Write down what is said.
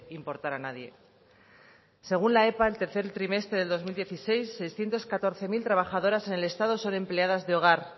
importar a nadie según la epa del tercer trimestre de dos mil dieciséis trescientos catorce mil trabajadoras en el estado son empleadas de hogar